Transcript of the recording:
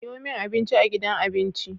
Siyomin abinci a gidan abinci